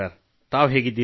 ಉತ್ತಮ ಸರ್